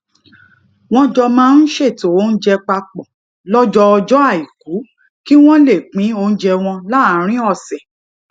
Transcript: wón jọ máa ń ṣètò oúnjẹ pa pò lójọọjó aiku kí wón lè pín oúnjẹ wọn láàárín òsè